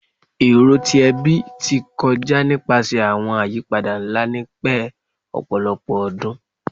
Ero ti ẹbi ti kọja nipasẹ awọn ayipada nla ni pẹ ọpọlọpọ ọdun